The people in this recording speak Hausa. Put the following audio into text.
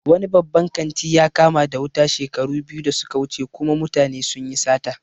Wani babban kanti ya kama da wuta shekaru biyu da suka wuce kuma mutane sunyi sata